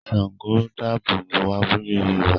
Ṣàngó dáàbò bo abúlé Yorùbá